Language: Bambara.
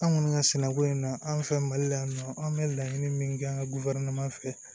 An kɔni ka sɛnɛko in na an fɛ mali la yan nɔ an bɛ laɲini min kɛ an ka fɛ